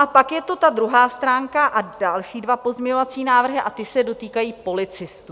A pak je tu ta druhá stránka a další dva pozměňovací návrhy - a ty se dotýkají policistů.